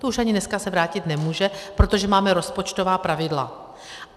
To už ani dneska se vrátit nemůže, protože máme rozpočtová pravidla.